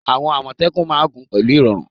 Àwọn Àmọ̀tẹ́kùn máa ń gun pẹ̀lú irọrun